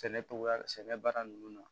Sɛnɛ togoya sɛnɛ baara nunnu na